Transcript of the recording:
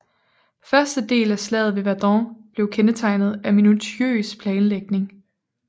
Første del af Slaget ved Verdun blev kendetegnet af minutiøs planlægning